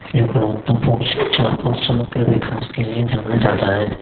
जो गुणवत्ता पूर्ण शिक्षा और समग्र विकास के लिए जाना जाता है।